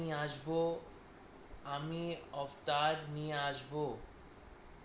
আমি আসব আমি আবতার নিয়ে আসব আর